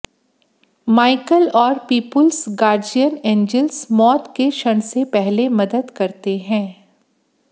Michael और people's guardian angels मौत के क्षण से पहले मदद करते हैं